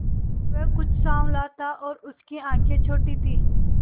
वह कुछ साँवला था और उसकी आंखें छोटी थीं